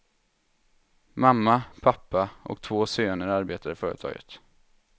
Mamma, pappa och två söner arbetar i företaget.